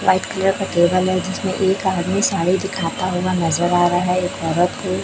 White colour का table है जिसमें एक आदमी साड़ी दिखाता हुआ नजर आ रहा है एक औरत है।